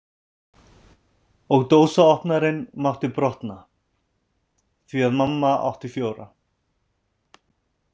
Og dósaopnarinn mátti brotna, því að mamma átti fjóra.